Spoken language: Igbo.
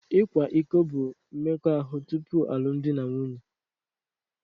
Ịkwa iko bụ mmekọahụ tupu alụmdi na nwunye